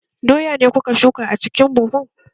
Doya ne kuka shuka a cikin buhun?